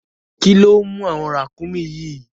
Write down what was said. Kíló mú àwọn ràkúnmí yìí?